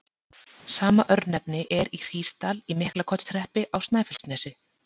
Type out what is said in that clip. Sama örnefni er í Hrísdal í Miklaholtshreppi á Snæfellsnesi.